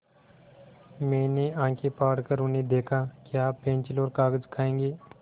मैंने आँखें फाड़ कर उन्हें देखा क्या आप पेन्सिल और कागज़ खाएँगे